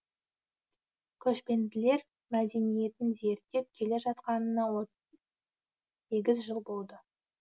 көшпенділер мәдениетін зерттеп келе жатқанына сегіз жыл болды